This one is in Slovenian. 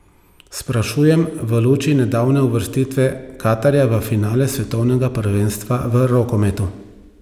Sprašujem v luči nedavne uvrstitve Katarja v finale svetovnega prvenstva v rokometu.